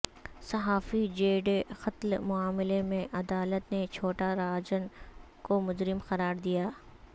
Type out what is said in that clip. صحافی جے ڈے قتل معاملہ میں عدالت نے چھوٹا راجن کو مجرم قرار دیا